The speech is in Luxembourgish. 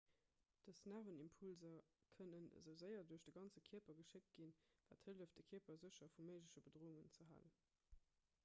dës nervenimpulser kënnen esou séier duerch de ganze kierper geschéckt ginn wat hëlleft de kierper sécher vu méigleche bedroungen ze halen